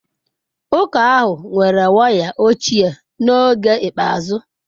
Ụka ahụ nwere waya ochie n'oge ikpeazụ.